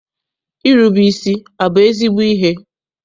Irube isi abụ ezigbo ihe?